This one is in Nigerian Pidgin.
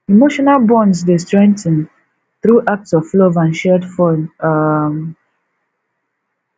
emotional bonds dey strengthen through acts of love and shared fun um